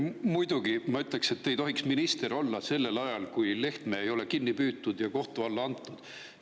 Muidugi, ma ütleksin, et te ei tohiks minister olla sellel ajal, kui Lehtme ei ole kinni püütud ja kohtu alla antud.